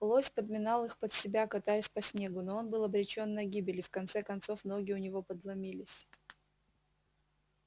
лось подминал их под себя катаясь по снегу но он был обречён на гибель и в конце концов ноги у него подломились